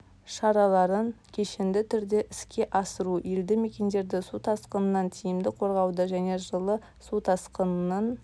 шараларын кешенді түрде іске асыру елді мекендерді су тасқынынан тиімді қорғауды және жылы су тасқынының